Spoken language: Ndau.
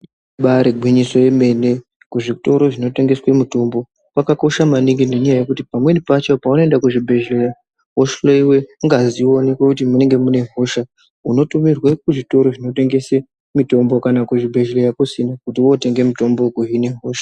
Ibari igwinyoso yemene kuzvitoro zvino tengeswe mitombo kwakakosha maningi nenyaya yekuti pamweni pacho pamuno enda kuzvi bhehlera uhloiwa ngazi oonekwa kuti inenge ine hosha unotumirwa kuzvitoro zvinotengesa mitombo kana kuzvi bhehlera kusina kuti wotenge mutombo wekuhina hosha.